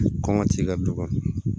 Kɔngɔ t'i ka du kɔnɔ